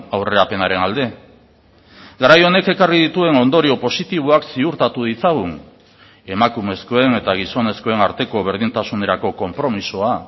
aurrerapenaren alde garai honek ekarri dituen ondorio positiboak ziurtatu ditzagun emakumezkoen eta gizonezkoen arteko berdintasunerako konpromisoa